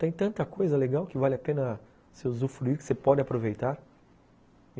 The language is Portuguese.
Tem tanta coisa legal que vale a pena se usufruir, que você pode aproveitar.